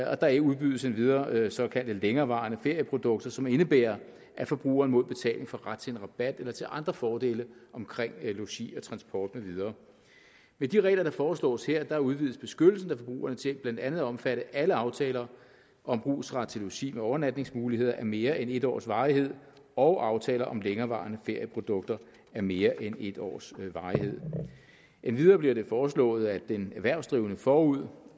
og der udbydes endvidere såkaldte længerevarende ferieprodukter som indebærer at forbrugeren mod betaling får ret til en rabat eller til andre fordele omkring logi og transport med videre med de regler der foreslås her udvides beskyttelsen af forbrugerne til blandt andet at omfatte alle aftaler om brugsret til logi med overnatningsmuligheder af mere end en års varighed og aftaler om længerevarende ferieprodukter af mere end en års varighed endvidere bliver det foreslået at en erhvervsdrivende forud